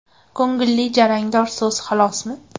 Ko‘ngilli jarangdor so‘z xolosmi?!.